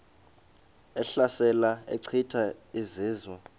ehlasela echitha izizwe